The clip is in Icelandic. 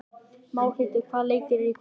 Málhildur, hvaða leikir eru í kvöld?